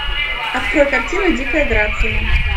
открой картину дикая грация